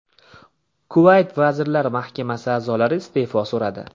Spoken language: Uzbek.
Kuvayt vazirlar mahkamasi a’zolari iste’fo so‘radi.